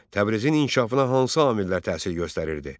Təbrizin inkişafına hansı amillər təsir göstərirdi?